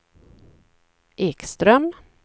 Ekström